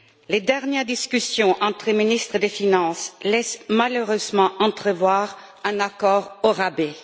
Les dernières discussions entre ministres des finances laissent malheureusement entrevoir un accord au rabais.